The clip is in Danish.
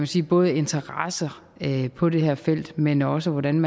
sige både interesser på det her felt men også hvordan